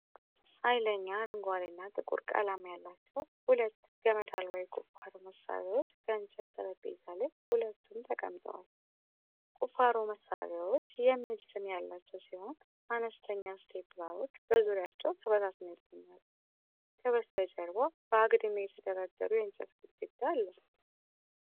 ኃይለኛ አረንጓዴ እና ጥቁር ቀለማት ያላቸው ሁለት ገመድ አልባ የቁፋሮ መሳሪያዎች ከእንጨት ጠረጴዛ ላይ ሁለቱም የ ተቀምጠዋል። ቁፋሮ መሳሪያዎች “ONE+” የሚል ስም ያላቸው ሲሆን፣ አነስተኛ ስፒራሎች በዙሪያቸው ተበታትነው ይገኛሉ። ከበስተጀርባ በአግድም የተደረደሩ የእንጨት ግድግዳ አለ።